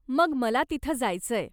मग मला तिथं जायचंय.